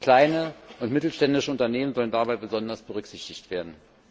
Kleine und mittelständische Unternehmen sollen dabei besonders berücksichtigt werden.